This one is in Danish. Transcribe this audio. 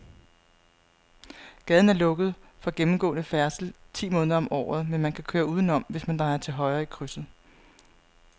Gaden er lukket for gennemgående færdsel ti måneder om året, men man kan køre udenom, hvis man drejer til højre i krydset.